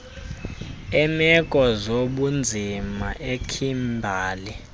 eemeko zobunzima ekhimbali